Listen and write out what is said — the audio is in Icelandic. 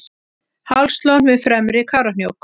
hálslón við fremri kárahnjúk